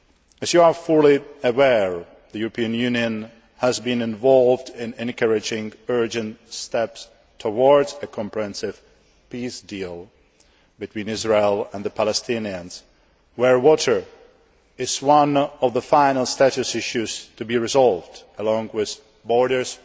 As you are fully aware, the European Union has been involved in encouraging urgent steps towards a comprehensive peace deal between Israel and the Palestinians, where water is one of the final status issues' to be resolved, along with borders,